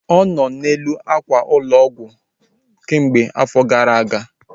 Ọ nọ n'elu ákwà ụlọ ọgwụ kemgbe afọ gara aga